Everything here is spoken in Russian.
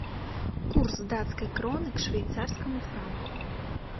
курс датской кроны к швейцарскому франку